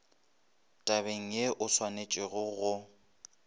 tabeng ye o swanetšego go